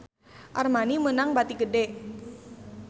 Armani meunang bati gede